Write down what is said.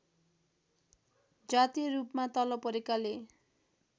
जातीयरूपमा तल परेकाले